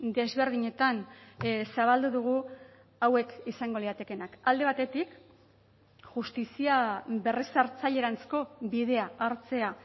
desberdinetan zabaldu dugu hauek izango liratekeenak alde batetik justizia berrezartzaileranzko bidea hartzea